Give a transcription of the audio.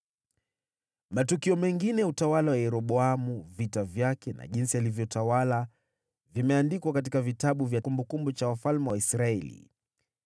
Matukio mengine ya utawala wa Yeroboamu, vita vyake na jinsi alivyotawala, vimeandikwa katika kitabu cha kumbukumbu za wafalme wa Israeli.